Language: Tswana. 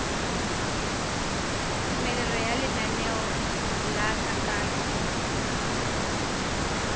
tumelelo ya lenaneo la kananyo